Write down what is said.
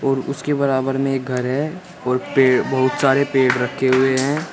और उसके बराबर में एक घर है और पेड़ बहुत सारे पेड़ रखे हुए हैं।